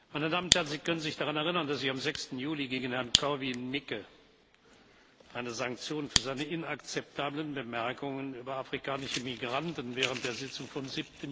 Meine Damen und Herren! Sie können sich daran erinnern, dass ich am 6. Juli gegen Herrn Korwin Mikke eine Sanktion für seine inakzeptablen Bemerkungen über afrikanische Migranten während der Sitzung vom